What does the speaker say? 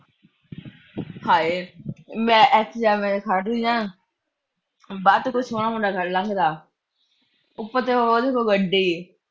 ਹਾਏ ਮੈਂ ਇਥੇ ਐਵੇਂ ਖੜ੍ਹ ਜਾ। ਬਸ ਕੋਈ ਸੋਹਣਾ ਮੁੰਡਾ ਫੜ ਲਾਂਗੇ ਨਾਲ। ਉਪਰ ਤੋਂ ਉਹਦੇ ਕੋਲ ਹੋਊ ਗੱਡੀ।